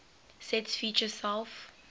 sets feature self